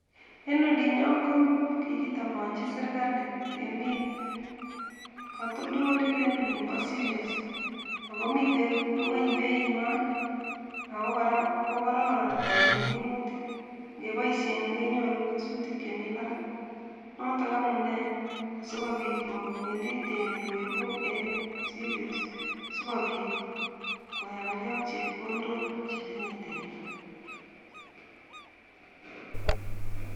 En olinyon ko kitabanchi sirkali temiik katoltolik en olimpo [siriol ago miten ng'weny [beinywan ago kora kokororon en minutik, ingeboisien kenyoru kesutik chemi parak, notok amune asikopiit kopendi temiik koibu en siriol sikopiit koyamge ak chepkondok chetinye temiik.